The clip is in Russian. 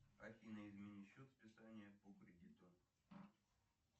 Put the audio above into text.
афина измени счет списания по кредиту